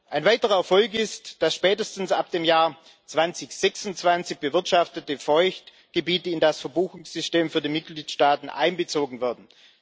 Ein weiterer Erfolg ist, das spätestens ab dem Jahr 2026 bewirtschaftete Feuchtgebiete in das Verbuchungssystem für die Mitgliedstaaten einbezogen werden.